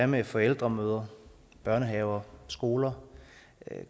med forældremøder i børnehaver og skoler